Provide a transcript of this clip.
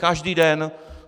Každý den!